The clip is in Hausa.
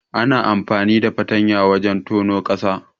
Ana amfani da fartanya wajen tonon ƙasa.